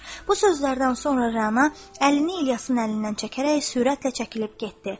Bu sözlərdən sonra Rəna əlini İlyasın əlindən çəkərək sürətlə çəkilib getdi.